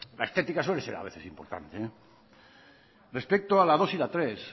la estética suele ser a veces importante respecto a la dos y la tres